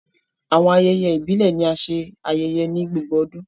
Awọn ayẹyẹ ibile ni a ṣe ayẹyẹ ni gbogbo ọdun